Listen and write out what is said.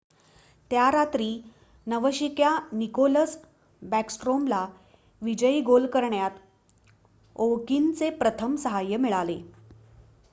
त्या रात्री नवशिक्या निकोलस बॅकस्ट्रोमला विजयी गोल करण्यात ओव्हकिनचे प्रथम सहाय्य मिळाले